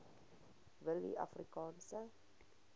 willieafrikaanse